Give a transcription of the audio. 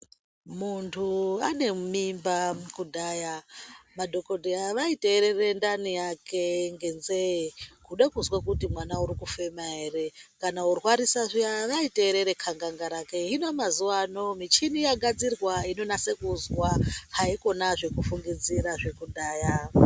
Muntu ane mimba kudhaya madhokodheya vaiteerera ndaninyake ngenzee kude kuzwa kuti mwana uri kufema erekana orwarisa zviya vaiteerera khanganga rake hino mazuwano michini yagadzirwa inonasa kuzwa haikona zvekufungidzira zvekudhaya.